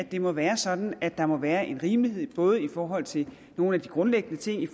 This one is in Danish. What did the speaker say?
det må være sådan at der må være en rimelighed både i forhold til nogle af de grundlæggende ting i